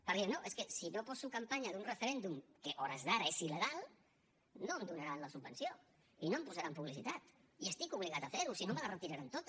perquè no és que si no poso campanya d’un referèndum que a hores d’ara és il·legal no em donaran la subvenció i no em posaran publicitat i estic obligat a fer ho si no me la retiraran tota